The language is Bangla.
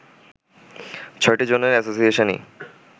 ছয়টি জোনের এ্যাসোসিয়েশনই